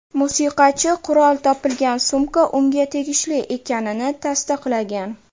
Musiqachi qurol topilgan sumka unga tegishli ekanini tasdiqlagan.